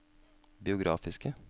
biografiske